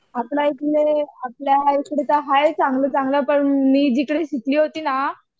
आपल्या इकडे आपल्या इकडे तर हाईत चांगले चांगले पण मी जिकडे शिकली होती ना